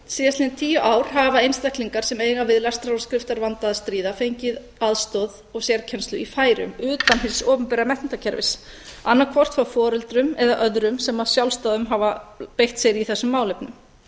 síðastliðin tíu ár hafa einstaklingar sem eiga við lestrar og skriftarvanda að stríða fengið aðstoð og sérkennslu í færeyjum utan hins opinbera menntakerfis annaðhvort frá foreldrum eða öðrum sem af sjálfsdáðum hafa beitt sér í þessum málefnum